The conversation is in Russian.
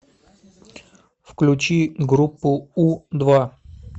включи группу у два